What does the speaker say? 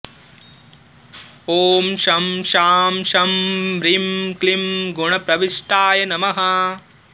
ॐ शं शां षं ह्रीं क्लीं गुणप्रविष्टाय नमः